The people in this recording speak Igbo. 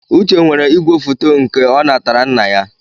Uche nwere ìgwèfoto nke ọ natara nna ya.